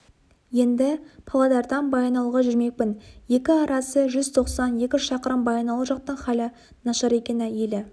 енді павлодардан баянауылға жүрмекпін екі арасы жүз тоқсан екі шақырым баянауыл жақтың халі нашар екен елі